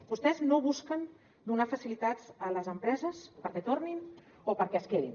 vostès no busquen donar facilitats a les empreses perquè tornin o perquè es quedin